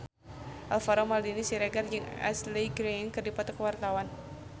Alvaro Maldini Siregar jeung Ashley Greene keur dipoto ku wartawan